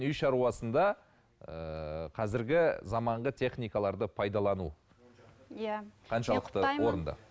үй шаруасында ыыы қазіргі заманғы техникаларды пайдалану иә